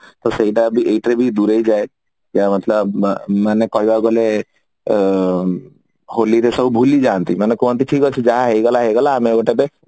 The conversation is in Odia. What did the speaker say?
ତ ସେଇଟା ବି ଏଇଥିରେ ଦୂରେଇଯାଏ କହିବା ମତଲପ ଊ ମାନେ କହିବାକୁ ଗଲେ ଊମ ହୋଲିରେ ସବୁ ଭୁଲିଯାନ୍ତି ମାନେ କୁହନ୍ତି ଠିକ ଅଛି ଯାହା ହଉ ଗଲା କଥା ଗଲା ଆଉ ଆମେ